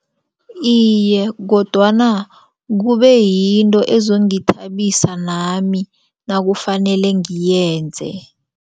Iye, kodwana kube yinto ezongithabisa nami nakufanele ngiyenze.